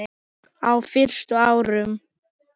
Á fyrstu árum